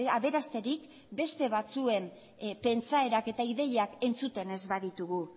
aberasterik beste batzuen pentsaerak eta ideiak entzuten ez baditugu